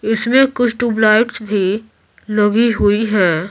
इसमें कुछ ट्यूबलाइट्स भी लगी हुई है।